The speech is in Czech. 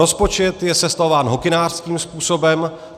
Rozpočet je sestavován hokynářským způsobem.